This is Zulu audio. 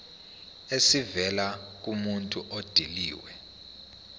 esivela kumuntu odilive